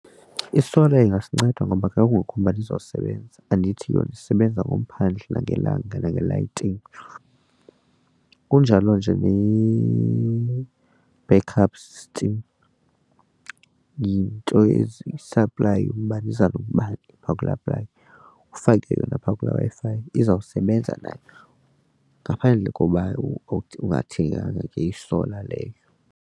I-solar ingasinceda ngoba xa kungekho umbani izosebenza andithi yona isebenza ngomphandle ngelanga nangelayitingi kunjalo nje yi-backup system yinto ezisaplayi umbane iza noobani phaa kula . Ufake yona phaa kula Wi-Fi izawusebenza nayo ngaphandle kokuba ungathenga ke i-solar leyo.